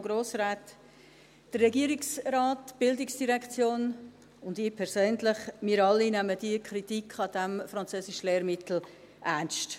Der Regierungsrat, die Bildungsdirektion und ich persönlich, wir alle nehmen die Kritik an diesem Französischlehrmittel ernst.